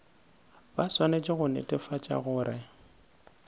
ba swanetše go netefatša gore